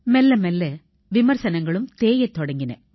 மெல்ல மெல்ல விமர்சனங்களும் தேயத் தொடங்கின